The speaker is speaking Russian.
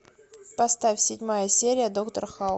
поставь седьмая серия доктор хаус